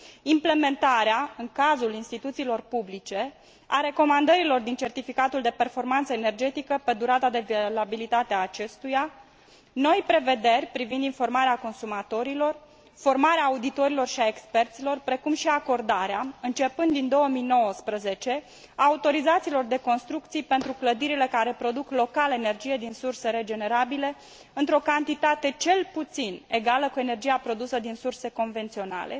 implementarea în cazul instituțiilor publice a recomandărilor din certificatul de performanță energetică pe durata de valabilitate a acestuia, noi prevederi privind informarea consumatorilor, formarea auditorilor si a experților, precum și acordarea, începând din 2019, a autorizațiilor de construcție pentru clădirile care produc local energie din surse regenerabile, într o cantitate cel puțin egală cu energia produsă din surse convenționale,